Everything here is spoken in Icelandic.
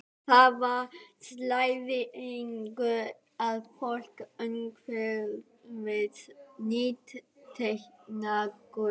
Þar var slæðingur af fólki umhverfis nýtekna gröf.